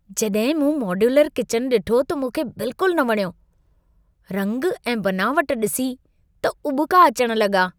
जॾहिं मूं modular kitchen ॾिठो त मूंखे बिल्कुल न वणियो। रंग ऐं बनावटु ॾिसी त उॿिका अचणु लॻा।